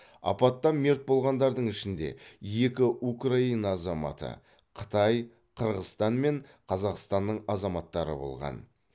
апаттан мерт болғандардың ішінде екі украина азаматы қытай қырғызстан мен қазақстанның азаматтары болған